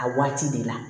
A waati de la